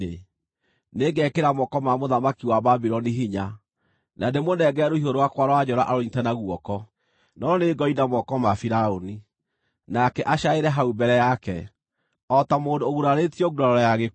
Nĩngekĩra moko ma mũthamaki wa Babuloni hinya, na ndĩmũnengere rũhiũ rwakwa rwa njora arũnyiite na guoko, no nĩngoina moko ma Firaũni, nake acaaĩre hau mbere yake, o ta mũndũ ũgurarĩtio nguraro ya gĩkuũ.